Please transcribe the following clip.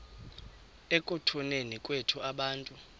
ekutuneni kwethu abantu